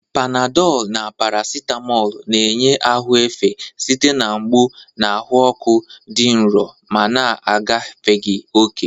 Panadolu na parasitamoolu na-enye ahụ efe site na mgbu na ahụ ọkụ dị nro ma na-agafeghị oke.